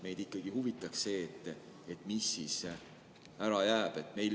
Meid ikkagi huvitab, mis asi ära jääb.